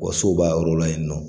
Wa so b'a yɔrɔ la yen nɔ